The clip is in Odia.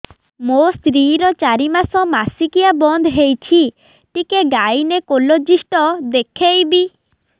ମୋ ସ୍ତ୍ରୀ ର ଚାରି ମାସ ମାସିକିଆ ବନ୍ଦ ହେଇଛି ଟିକେ ଗାଇନେକୋଲୋଜିଷ୍ଟ ଦେଖେଇବି